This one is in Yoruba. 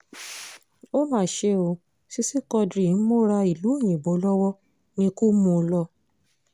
ó mà ṣe o sisi quadri ń múra ìlú òyìnbó lọ́wọ́ níkù mú un lọ